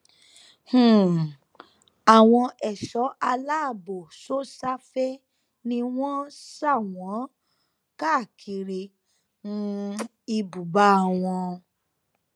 um àwọn ẹṣọ aláàbọ sosafe ni wọn sà wọn káàkiri um ibùba wọn